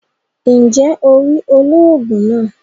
Njé o rí olóògùn náà?